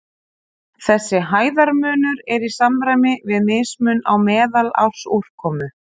Þessi hæðarmunur er í samræmi við mismun á meðalársúrkomu.